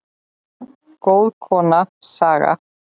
Góð kona, Saga.